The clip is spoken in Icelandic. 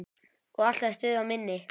Og alltaf stuð á minni.